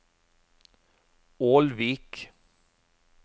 Ålvik